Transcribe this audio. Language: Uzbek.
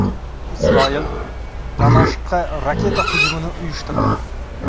Isroil Damashqqa raketa hujumini uyushtirdi.